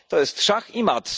To jest szach i mat.